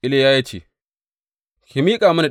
Iliya ya ce, Ki miƙa mini ɗanki.